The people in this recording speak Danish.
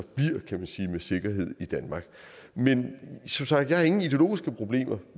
med sikkerhed i danmark men som sagt har jeg ingen ideologiske problemer